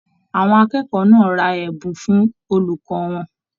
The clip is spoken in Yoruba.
Àwọn akẹ́kọ̀ọ́ náà rà ẹbùn fún olùkọ wọn.